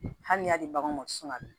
Hali n'i y'a di bagan ma sunɔgɔ